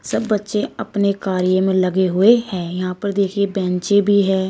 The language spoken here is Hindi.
सब बच्चे अपने कार्य में लगे हुए हैं यहां पर देखिए बैंचें भी है।